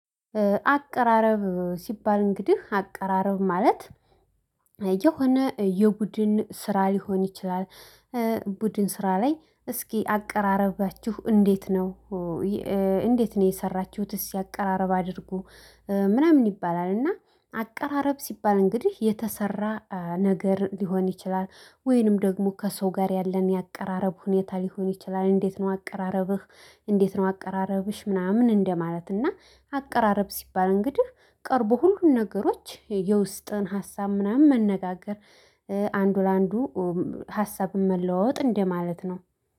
አቀራረብ ሲባል እንግዲህ አቀራረብ ማለት የሆነ የቡድን ስራ ሊሆን ይችላል። ቡድን ስራ ላይ እስኪ አቀራረባችሁችሁ እንዴት ነው? እንዴት ነው የሰራችሁትስ አቀራረብ አድርጉ። ምናምን ይባላል እና አቀራረብ ሲባል እንግዲህ የተሰራ ነገር ሊሆን ይችላል ወይንም ደግሞ ከሰው ጋር ያለን የአቀራረብ ሁኔታ ሊሆን ይችላል። እንዴት ነው አቀራረብህ እንዴት ነው አቀራረብሽ ምናምን እንደማለት እና። አቀራረብ ሲባል እንግዲህ ቀርቦ ሁሉን ነገሮች የውስጥን ሀሳብ ምናምን መነጋገር። አንዱ ለአንዱ ሀሳብን መለወጥ እንደማለት ነው